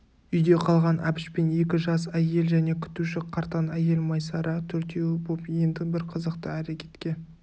үйде қалған әбіш пен екі жас әйел және күтуші қартаң әйел майсара төртеуі боп енді бір қызықты әрекетке